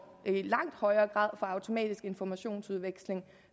langt højere grad får automatisk informationsudveksling